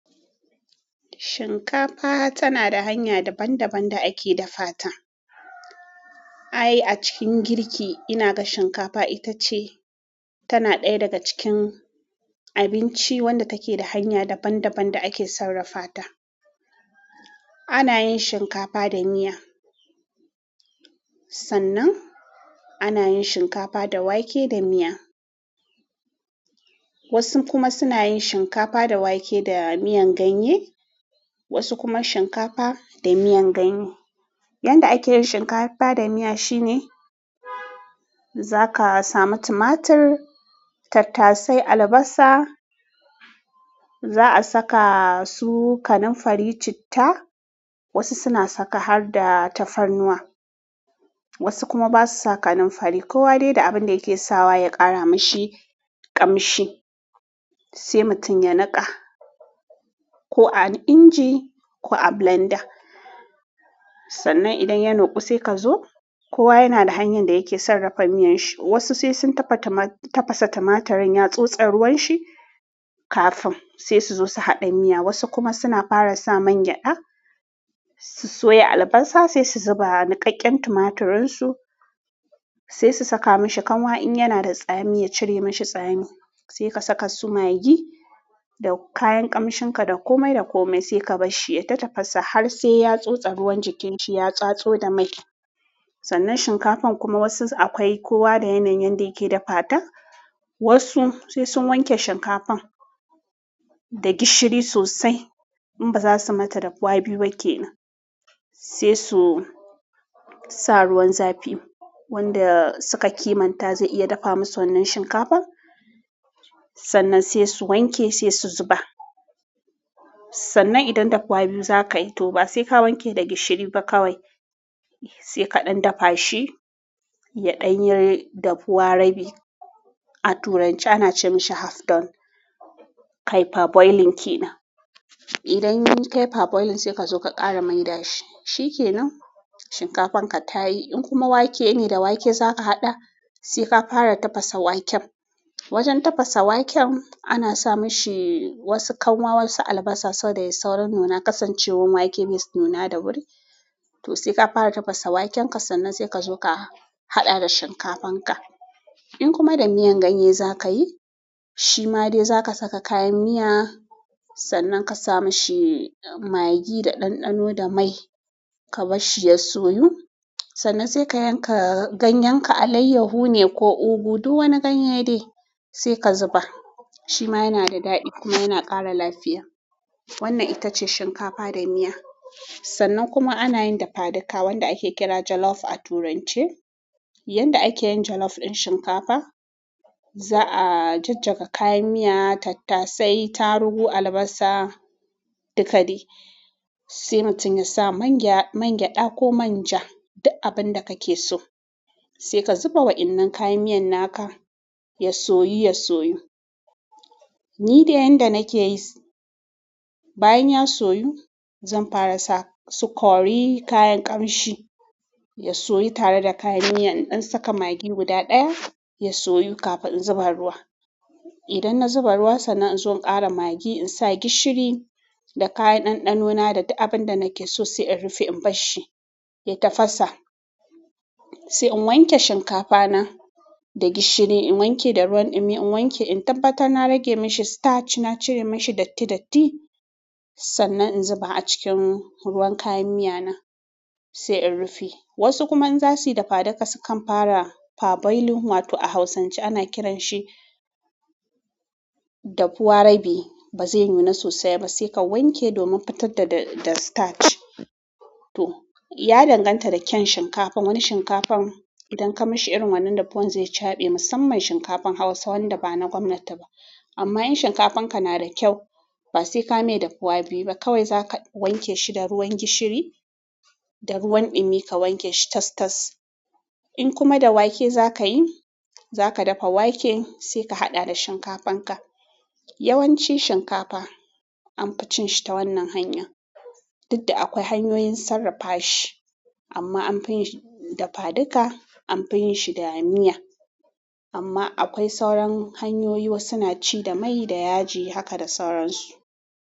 Shinkafa tana da hanya daban-daban da ake dafa ta. Ai a cikin girki ina ga shinkafa ita ce tana ɗaya daga cikin abinci wanda take da hanya daban-daban da ake sarrafa ta. Ana yin shinkafa da miya, sannan ana yin shinkafa da wake da miya. Wasu kuma suna yin shinkafa da wake da miyan ganye, wasu kuma shinkafa da miyan ganye. Yanda ake yin shinkafa da miya shine. Zaka samu tumatur, tattasai albasa za a saka su kanamfari, citta. Wasu suna saka har da tafarnuwa, wasu kuma basu sa kanunfari. Kowa dai da abin da yake sawa ya ƙara mashi ƙamshi sai mutum ya niƙa ko a inji ko a blender. Sannan idan ya nuƙu sai ka zo kowa yana da hanyar da yake sarrafa miyan shi. Wasu sai sun tafa tuma tafasa tumatirin ya tsotse ruwan shi kafin sai su zo su haɗa miya. Wasu kuma suna fara sa man gyaɗa su soya albasa sai su zuba niƙaƙƙen tumatirin su. Sai su saka mashi kanwa in yana da tsami ya cire mashi tsami. Sai ka saka su magi da kayan ƙamshinka da komai da komai sai ka bar shi ya tafasa har sai ya tsotsa ruwan jikin shi ya tsatso da mai. Sannan shinkafan kuma wasu akwai kowa da yanayin yanda yake dafa ta. Wasu sai sun wanke shinkafan da gishiri sosai, in ba za su mata dafuwa biyu ba ke nan. Sai su sa ruwan zafi wanda suka kimanta zai iya dafa musu wannan shinkafan. Sannan sai su wanke sai su zuba. Sannan idan dafuwa biyu za kai to ba sai ka wanke da gishiri ba kawai sai ka ɗan dafa shi ya ɗan yi dafuwa rabi. A turanci ana ce mashi half done. Kai per boiling ke nan. Idan kai per boiling sai ka zo ka ƙara mai da shi. Shi ke nan shinkafan ka tayi. In kuma wake ne da wake za ka haɗa sai ka fara tafasa waken. Wajen tafasa waken ana sa mashi wasu kanwa wasu albasa saboda ya yi saurin nuna ƙasancewar wake bai nuna da wuri. To sai ka fara tafasa waken ka sannan sai ka zo ka haɗa da shinkafan ka. In kuma da miyan ganye za ka yi shi ma dai za ka saka kayan miya sannan ka sa mashi magi da ɗanɗano da mai ka bar shi ya soyu. Sannan sai ka yanka ganyen ka alayyahu ne ko ugu duk wani ganye ne sai ka zuba. Shi ma yana da daɗi kuma yana ƙara lafiya. Wannan ita ce shinkafa da miya. Sannan kuma ana yin dafadika wanda ake kira jollof a turance. Yanda ake yin jollof ɗin shinkafa za'a jajjaga kayan miya, tattasai, tarugu, albasa, dikadai sai mutum ya sa man gyaɗa ko manja duk abin da ka ke so. Sai ka zuba waƴanan kayan miyan naka ya soyu, ya soyu. Ni dai yanda nake yi bayan ya soyu zan fara sa su kori, kayan ƙamshi ya soyu tare da kayan miya, in ɗan saka magi guda ɗaya ya soyu kafin in zuba ruwa. Idan na zuba ruwa sannan in zo in ƙara magi in sa gishiri da kayan ɗanɗano na da duk abin da nake so sai in rufe in bar shi ya tafasa. Sai in wanke shinkafa na da gishiri in wanke da ruwan ɗumi in wanke in tabbata na rage mashi starch na cire mashi datti datti. Sannan in zuba a cikin ruwan kayan miya na sai in rufe. Wasu kuma in za su yi dafadika su kan fara per boiling wato a hausance ana kiran shi dafuwa rabi bazai yi nuna sosai ba sai ka wanke domin fitar da starch to ya danganta da kyan shinkafan. Wani shinkafan idan ka mashi irin wannan dafuwan zai caɓe musamman shinkafan Hausa wanda ba na gwamnati ba. Amma in shinkafan ka na da kyau ba sai ka mai dafuwa biyu ba kawai za ka wanke shi da ruwan gishiri da ruwan ɗumi ka wanke shi tas-tas. In kuma da wake za ka yi za ka dafa wake sai ka haɗa da shinkafan ka. Yawanci shinkafa an fi cin shi ta wannan hanya. Dudda akwai hanyoyin sarrafa shi amma an fi yin shi dafadika an fi yin shi da miya. Amma akwai sauran hanyoyi wasu na ci da mai da yaji haka da sauran su.